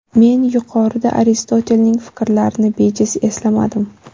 Men yuqorida Aristotelning fikrlarini bejiz eslamadim.